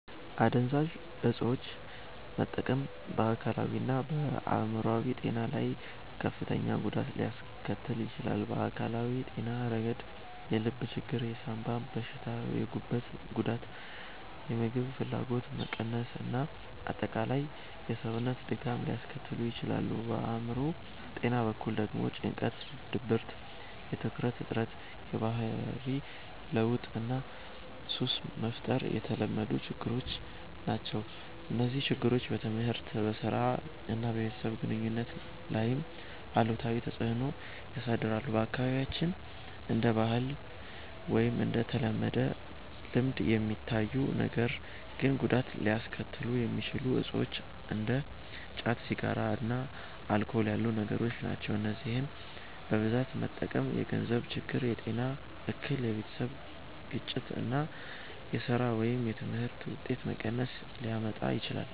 **"አደንዛዥ እፆችን መጠቀም በአካላዊና በአእምሮአዊ ጤና ላይ ከፍተኛ ጉዳት ሊያስከትል ይችላል። በአካላዊ ጤና ረገድ የልብ ችግር፣ የሳንባ በሽታ፣ የጉበት ጉዳት፣ የምግብ ፍላጎት መቀነስ እና አጠቃላይ የሰውነት ድካም ሊያስከትሉ ይችላሉ። በአእምሮ ጤና በኩል ደግሞ ጭንቀት፣ ድብርት፣ የትኩረት እጥረት፣ የባህሪ ለውጥ እና ሱስ መፍጠር የተለመዱ ችግሮች ናቸው። እነዚህ ችግሮች በትምህርት፣ በሥራ እና በቤተሰብ ግንኙነት ላይም አሉታዊ ተጽዕኖ ያሳድራሉ። በአካባቢያችን እንደ ባህል ወይም እንደ ተለመደ ልምድ የሚታዩ ነገር ግን ጉዳት ሊያስከትሉ የሚችሉ እፆች እንደ ጫት፣ ሲጋራ እና አልኮል ያሉ ነገሮች ናቸው። እነዚህን በብዛት መጠቀም የገንዘብ ችግር፣ የጤና እክል፣ የቤተሰብ ግጭት እና የሥራ ወይም የትምህርት ውጤት መቀነስ ሊያመጣ ይችላል።